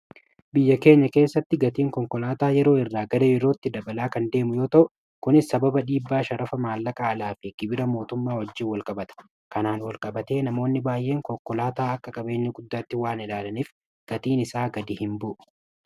biyya keenya keessatti gatiin konkolaataa yeroo irraa gara yerootti dabalaa kan deemu yoo ta'u kunis sababa dhba5hafa maalla qaalaa fi kibira mootummaa wajjiin wal qabata kanaan wal-qabatee namoonni baay'een konkolaataa akka kabeeni guddaatti waan edaalaniif gatiin isaa gadi hin bu'u